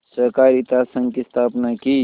सहाकारित संघ की स्थापना की